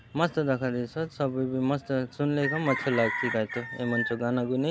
मस्त दखा देसोत सब एबे मस्त सुनले एकदमअच्छा लागसी कायतो ए मन चो गाना गुनी --